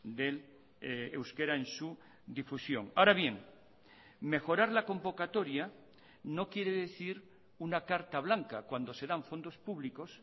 del euskera en su difusión ahora bien mejorar la convocatoria no quiere decir una carta blanca cuando se dan fondos públicos